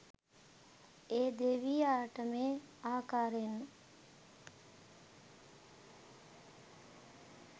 ඒ දෙවියාට මේ ආකාරයෙන්